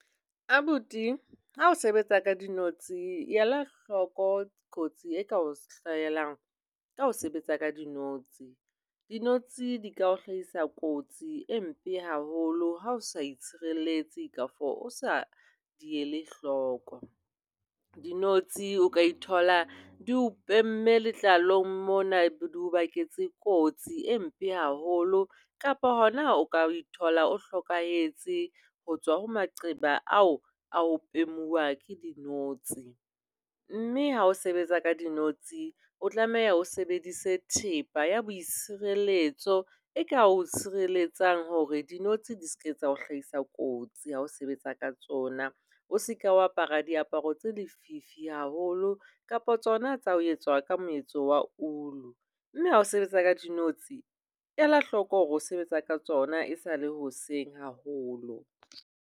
Abuti, ha o sebetsa ka dinotshi ela hloko kotsi e ka hlahelang ka ho sebetsa ka dinotshi. Dinotshi di ka o hlahisa kotsi e mpe haholo ha o sa itshireletsa kafo o sa di ele hloko. Dinotshi o ka thola di o pemme letlalong mona, di o baketse kotsi e mpe haholo kapa hona o ka thola o hlokahetse ho tswa ho maqeba ao a ho pemuwa ke dinotshi. Mme ha o sebetsa ka dinotshi o tlameha o sebedise thepa ya boitshireletso e ka o tshireletsa hore dinotshi di seka o hlahisa kotsi ha o sebetsa ka tsona. O seka apara diaparo tsa lefifi haholo kapa tsona tsa ho etsa ka moetso wa ulu. Mme ho sebetsa ka dinotshi ela hloko hore o sebetsa ka tsona esale hoseng haholo.